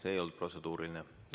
See ei olnud protseduuriline küsimus.